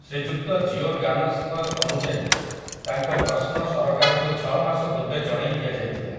ଶ୍ରୀଯୁକ୍ତ ଜିଓରଗାନସ୍ ଙ୍କ ଅନୁଯାୟୀ, ତାଙ୍କ ପ୍ରଶ୍ନ ସରକାରଙ୍କୁ ଛଅ ମାସ ପୂର୍ବେ ଜଣେଇଦିଆଯାଇଥିଲା ।